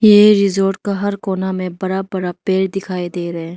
ये रिसोर्ट का हर कोना में बड़ा बड़ा पेड़ दिखाई दे रहा है।